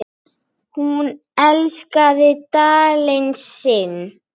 Hún elskaði Dalinn sinn.